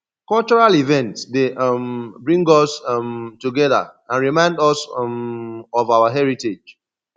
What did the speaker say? cultural events dey um bring us um together and remind us um of our heritage